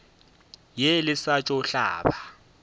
ye le sa tšo hlaba